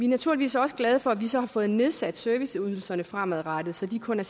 naturligvis også glade for at vi så har fået nedsat serviceydelserne fremadrettet så de kun er